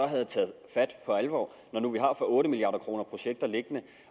havde taget fat for alvor når nu vi har for otte milliard kroner projekter liggende